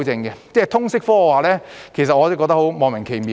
對於通識科，我覺得十分莫名其妙。